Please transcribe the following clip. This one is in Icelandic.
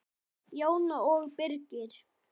Jóhanna og Birgir.